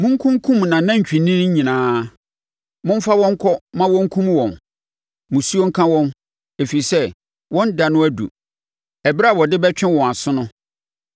Monkunkum nʼanantwinini nyinaa; momfa wɔn nkɔ ma wɔnkum wɔn! Musuo nka wɔn! Ɛfiri sɛ wɔn da no aduru, ɛberɛ a wɔde bɛtwe wɔn aso no.